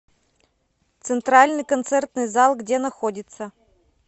центральный концертный зал где находится